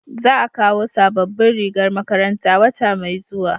za a kawo sabobbin rigar makaranta wata mai zuwa